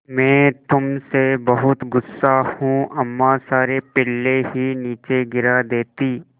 मैं तुम से बहुत गु़स्सा हूँ अम्मा सारे पिल्ले ही नीचे गिरा देतीं